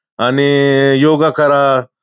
आणि योगा करा.